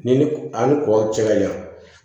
Ni a ni kɔ cɛ ka jan